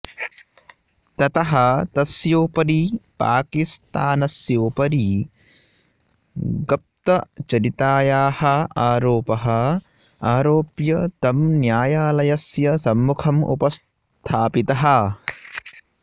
ततः तस्योपरि पाकिस्थानस्योपरि गप्तचरितायाः आरोपः आरोप्य तं न्यायालयस्य सम्मुखम् उपस्थापितः